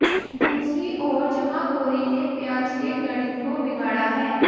दूसरी ओर जमाखोरी ने प्याज के गणित को बिगाड़ा है